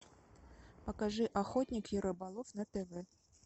покажи охотник и рыболов на тв